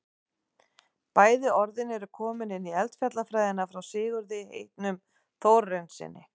bæði orðin eru komin inn í eldfjallafræðina frá sigurði heitnum þórarinssyni